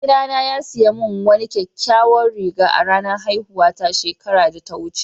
Mai gida na ya siya mun wani kyakkyawan riga a'ranan haihuwa ta shekaran da ta wuce.